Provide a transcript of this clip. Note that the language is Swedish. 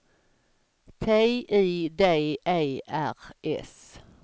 T I D E R S